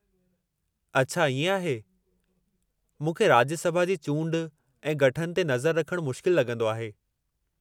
अछा इएं आहे। मूंखे राज्य सभा जी चूंड ऐं गठन ते नज़र रखणु मुश्किल लॻंदो आहे।